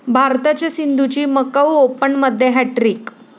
भारताच्या सिंधूची मकाऊ ओपनमध्ये हॅटट्रिक